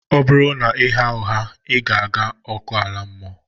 Ọ bụrụ na ị na-agha ụgha, ị na-aga hell